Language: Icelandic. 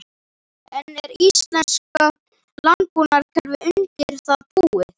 En er íslenska landbúnaðarkerfið undir það búið?